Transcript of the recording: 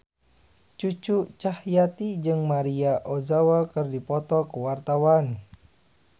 Cucu Cahyati jeung Maria Ozawa keur dipoto ku wartawan